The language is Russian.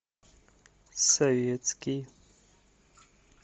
советский